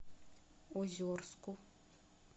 озерску